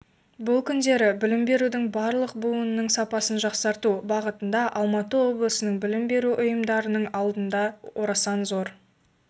бұл күндері білім берудің барлық буынының сапасын жақсарту бағытында алматы облысының білім беру ұйымдарының алдында орасан зор